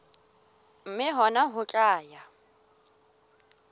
mme hona ho tla ya